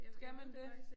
Skal man det?